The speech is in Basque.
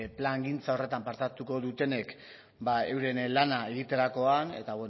plangintza horretan parte hartuko dutenek euren lana egiterakoan eta